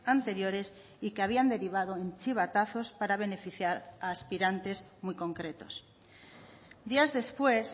anteriores y que habían derivado en chivatazos para beneficiar a aspirantes muy concretos días después